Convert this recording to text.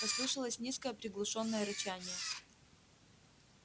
послышалось низкое приглушённое рычание